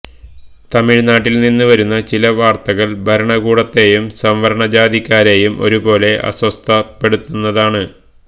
തമിഴ്നാട്ടില്നിന്ന് വരുന്ന ചില വാര്ത്തകള് ഭരണകൂടത്തെയും സവര്ണ ജാതിക്കാരെയും ഒരുപോലെ അസ്വസ്ഥപ്പെടുത്തുന്നതാണ്